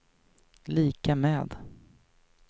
lika med